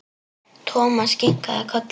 Thomas kinkaði kolli.